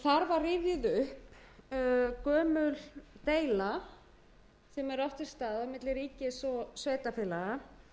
var rifjuð upp gömul deila sem hefur átt sér stað milli ríkis og sveitarfélaga